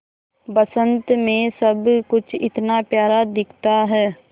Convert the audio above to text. बसंत मे सब कुछ इतना प्यारा दिखता है